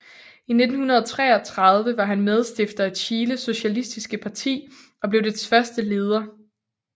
I 1933 var han medstifter af Chiles Socialistiske Parti og blev dets første leder